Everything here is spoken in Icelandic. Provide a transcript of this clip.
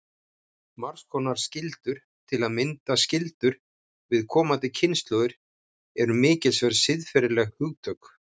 Margs konar skyldur, til að mynda skyldur við komandi kynslóðir, eru mikilsverð siðferðileg hugtök.